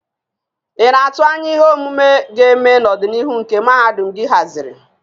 Ị na-atụ anya ihe omume ga-eme n'ọdịnihu nke mahadum gị haziri?